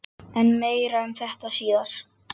En meira um þetta síðar.